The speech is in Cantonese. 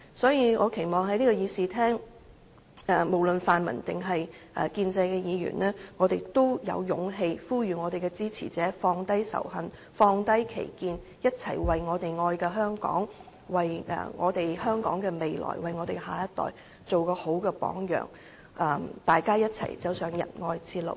所以，我期望在這個議事廳，無論是泛民還是建制派議員，都能有勇氣呼籲支持者放低仇恨，放低歧見，一同為我們愛的香港、為香港的未來、為我們的下一代做一個好榜樣，大家一同走上仁愛之路。